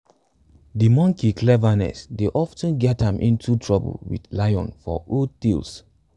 de monkey cleverness dey of ten get am into trouble wit lion for old tales